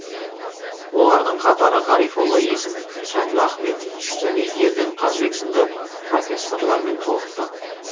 олардың қатары ғарифолла есім әділ ахметов және ерден қажыбек сынды профессорлармен толықты